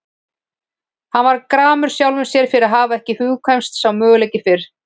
Hann varð gramur sjálfum sér fyrir að hafa ekki hugkvæmst sá möguleiki fyrr.